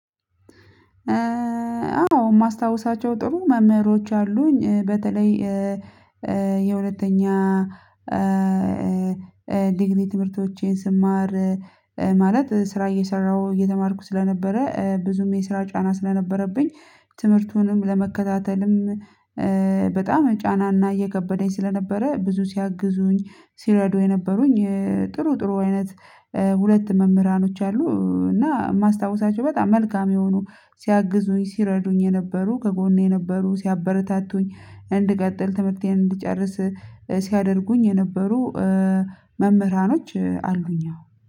አዎ፤ የማስታውሳቸው ጥሩ መምህሮች አሉኝ። በተለይ የሁለተኛ ዲግሪ ትምህርቶቼን ስማር ማለት ስራ እየሰራሁ እየተማርኩ ስለነበረ ብዙም የስራ ጫና ስለነበረብኝ፤ ትምህርቱንም ለመከታተልም በጣም ጫናና እየከበደኝ ስለነበረ ብዙ ሲያግዙኝ ሲረዱ የነበሩኝ ጥሩ ጥሩ አይነት ሁለት መምህራኖች አሉ። እና የማስታውሳቸው በጣም መልካም የሆኑ ሲረዱኝ የነበሩ ከጎኔ የነበሩ ሲያበረታቱኝ እንድቀጥል ትምህርቴን እንድጨርስ ሲያደርጉኝ የነበሩ መምህራኖች አሉኝ አዎ።